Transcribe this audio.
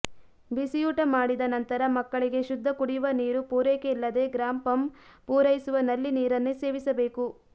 ಬಿಸಿಯೂಟ ಮಾಡಿದ ನಂತರ ಮಕ್ಕಳಿಗೆ ಶುದ್ಧ ಕುಡಿವ ನೀರು ಪೂರೈಕೆಯಿಲ್ಲದೆ ಗ್ರಾಪಂ ಪೂರೈಸುವ ನಲ್ಲಿ ನೀರನ್ನೆ ಸೇವಿಸಬೇಕು